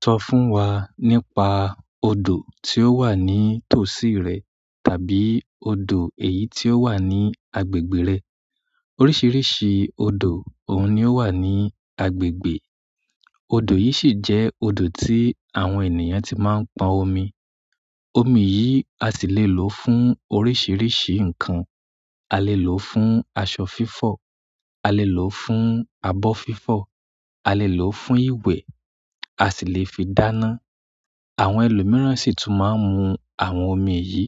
Sọ fún wa nípa odò tí ó wà ní tòsí rẹ tàbí odò èyí tí ó wà ní agbègbè rẹ. Oríṣiríṣi odo oun ni o wa ni agbègbè. Odò yìí sì jẹ́ odò tí àwọn ènìyàn ti máa ń pọn omi. Omi yìí a sì lè lò ó fún oríṣìíríṣìí ǹkan. A lè lò ó fún aṣọ fífọ̀, a lè lò ó fún abọ́ fífọ̀, a lè lò ó fún ìwẹ̀, a sì lè fi dáná. Àwọn ẹlòmíràn sì tún máa ń mu àwọn omi yìí.